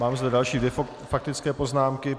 Mám zde další dvě faktické poznámky.